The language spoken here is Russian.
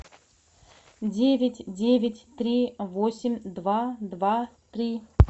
девять девять три восемь два два три